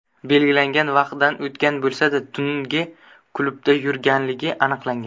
belgilangan vaqtdan o‘tgan bo‘lsa-da tungi klubda yurganligi aniqlangan.